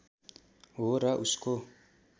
हो र उसको